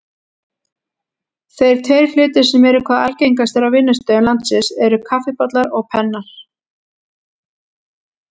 Þeir tveir hlutir sem eru hvað algengastir á vinnustöðum landsins eru kaffibollar og pennar.